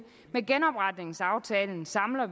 med genopretningsaftalen samler